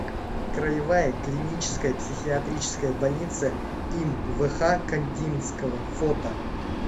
краевая клиническая психиатрическая больница им вх кандинского фото